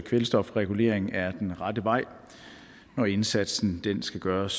kvælstofregulering er den rette vej og indsatsen skal gøres